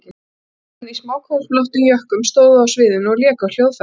Fimm menn í smáköflóttum jökkum stóðu á sviðinu og léku á hljóðfæri.